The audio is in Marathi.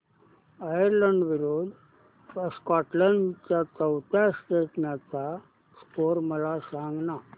आयर्लंड विरूद्ध स्कॉटलंड च्या चौथ्या टेस्ट मॅच चा स्कोर मला सांगना